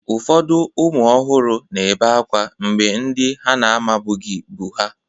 Ụfọdụ ụmụ ọhụrụ na-ebe akwa mgbe ndị ha na-amabughị bu ha.